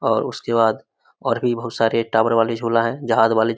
और उसके बाद और भी बहुत सारे टॉवर वाले झूला है जहाज वाले --